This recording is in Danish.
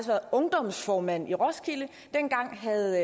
været ungdomsformand i roskilde dengang havde